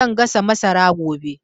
Zan gasa masara gobe